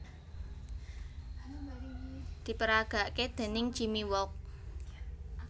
Diperagake déning Jimmy Wolk